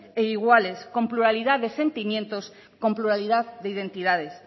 e iguales con pluralidad de sentimientos con pluralidad de identidades